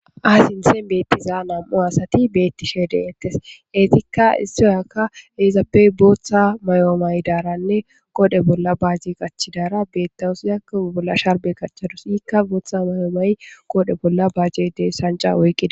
aasintsen beettizaa nam7u asati beettishe deettes eetikka istoyakka eizaapey booththa mayoomay daaranne qodhe bolla baajje qachchidara beettawusiyak bolla sharbe kachchadus ikka booththa mayoomay qoodhe bolla baaje dee sanca woyqqida